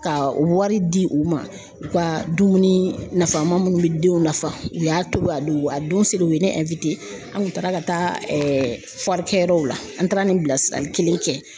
Ka wari di u ma u ka dumuni nafama munnu be denw nafa u y'a tobi a don a don sere u ye ne an kun taara ka taa kɛ yɔrɔ la an taara ni bilasirali kelen kɛ.